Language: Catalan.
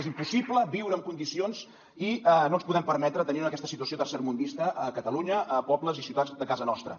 és impossible viure en condicions i no ens podem permetre tenir aquesta situació tercermundista a catalunya a pobles i ciutats de casa nostra